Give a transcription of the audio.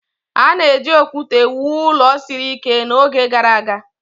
A na-eji okwute wuo ụlọ siri ike n'oge gara aga